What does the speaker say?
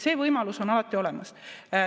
See võimalus on alati olemas.